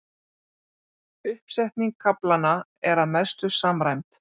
Uppsetning kaflanna er að mestu samræmd